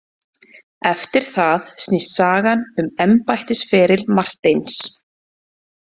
Eftir það snýst sagan um embættisferil Marteins.